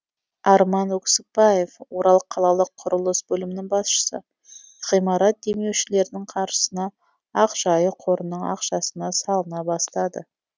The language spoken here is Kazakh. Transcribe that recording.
арман өксікбаев орал қалалық құрылыс бөлімінің басшысы ғимарат демеушілердің қаржысына ақжайық қорының ақшасына салына басталды